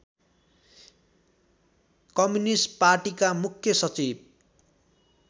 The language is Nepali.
कम्युनिष्ट पार्टीका मुख्य सचिव